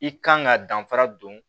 I kan ka danfara don